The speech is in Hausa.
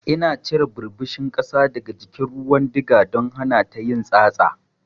Ina cire ɓirɓishin ƙasa daga jikin ruwan diga don hanata yin tsatsa.